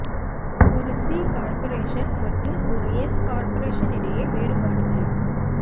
ஒரு C corporation மற்றும் ஒரு எஸ் கார்ப்பரேஷன் இடையே வேறுபாடுகள்